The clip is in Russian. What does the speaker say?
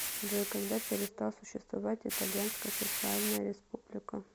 джой когда перестал существовать итальянская социальная республика